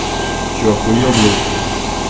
ты что ахуел блядь